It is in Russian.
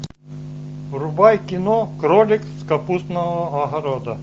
врубай кино кролик с капустного огорода